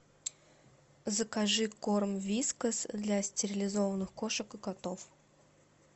закажи корм вискас для стерилизованных кошек и котов